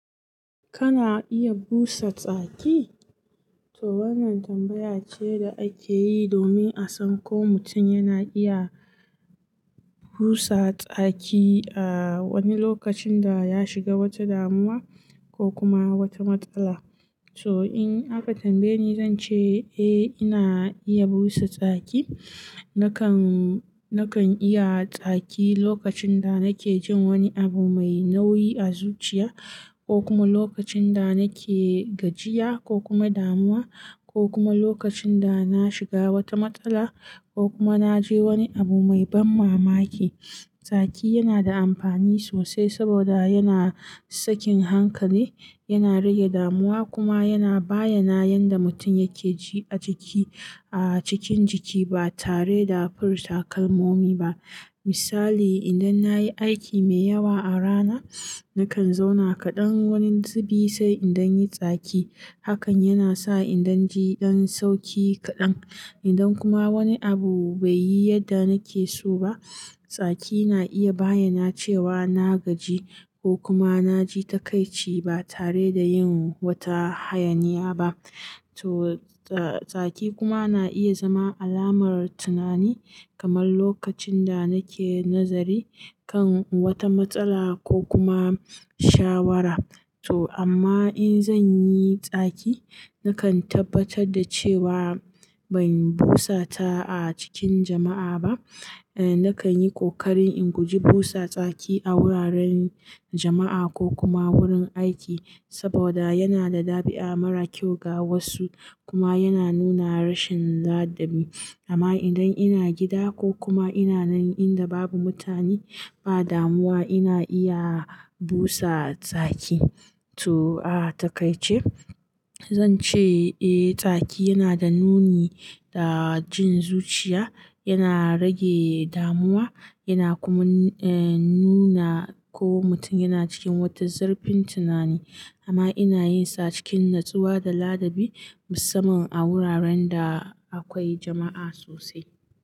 Kana iya busa tsaki? To wannan tambaya ce da ake yi domin a san ko mutum yana iya busa tsaki a wani lokacin da ya shiga wata damuwa ko kuma wata matsala. So in aka tambaye ni, zan ce eh ina iya busa tsaki. Nakan, nakan iyi tsaki lokacin da nake jin wani abu mai nauyi a zuciya ko kuma lokacin da nake gajiya ko kuma damuwa ko kuma lokacin da na shiga wata matsala ko kuma na ji wani abu mai ban mamaki. Tsaki yana da amfani sosai saboda yana sakin hankali, yana rage damuwa kuma yana bayyana yadda mutum yake ji a jiki, a cikin jiki ba tare da furta kalmomi ba. Misali, idan na yi aiki mai yawa a rana, nakan zauna kaɗan wani zubi sai in danyi tsaki. Hakan yana sa in danji dan sauki kaɗan. Idan kuma wani abu bai yi yadda nake so ba, tsaki na iya bayyana cewa na gaji ko kuma na ji takaici ba tare da yin wata hayaniya ba. To ta, tsaki kuma na iya zama alamar tunani, kamar lokacin da nake nazari kan wata matsala ko kuma shawara. To amma in zan yi tsaki, nakan tabbatar da cewa ban busa ta a cikin jama'a ba. Eh nakan yi ƙoƙarin in guji busa tsaki a wuraren jama'a ko kuma wurin aiki saboda yana da ɗabi'a mara kyau ga wasu kuma yana nuna rashin ladabi. Amma idan ina gida ko kuma ina nan inda babu mutane, ba damuwa ina iya busa tsaki. To a takaice, zan ce eh tsaki yana da nuni da jin zuciya, yana rage damuwa yana kuma eh nuna ko mutum yana cikin wata zurfin tunani. Amma ina yin sa cikin natsuwa da ladabi musamman a wuraren da akwai jama'a sosai.